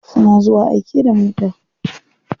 Suna zuwa aike da mota.